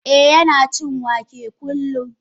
Eh Yana cin wake kullum.